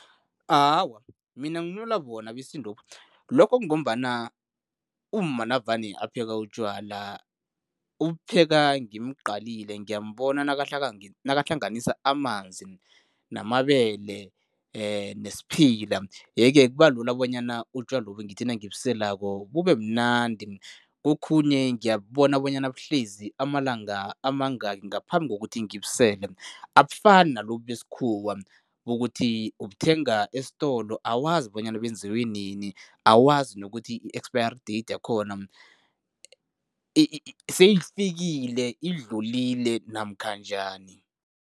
Awa, mina bona besintobu. Lokho kungombana umma navane apheka utjwala, ubupheka ngimqalile, ngiyambona bona nakahlanganisa amanzi namabele nesiphila yeke kubalula bonyana utjwalobu ngithi nangibuseleko bubemnandi. Kokhunye ngiyabubona bonyana buhlezi amalanga amangaki ngaphambi kokuthi ngibusele. Abufani nalobu besikhuwa, kukuthi ubuthenga esitolo, awazi bonyana benziwe nini, awazi nokuthi i-expiry date yakhona seyifikile, idlulile namkha njani.